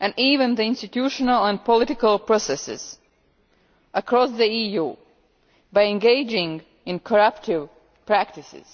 and even the institutional and political processes across the EU, by engaging in corrupt practices.